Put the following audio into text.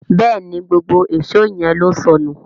Béèni gbógbó Èṣó yén ló sọnù.